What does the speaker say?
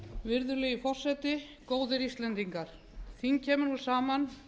virðulegi forseti góðir íslendingar þing kemur nú saman